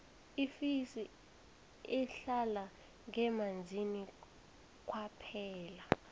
ifesi ihlala ngemanzini kwaphela